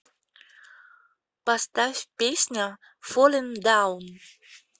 поставь песня фоллин даун